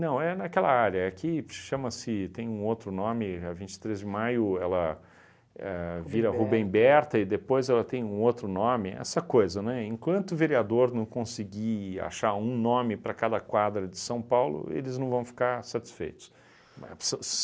Não, é naquela área, é que chama-se, tem um outro nome, a vinte e três de maio ela éh vira Rubem Berta e depois ela tem um outro nome, essa coisa, né, enquanto vereador não conseguir achar um nome para cada quadra de São Paulo, eles não vão ficar satisfeitos. Ma so